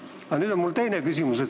Aga nüüd minu teine küsimus.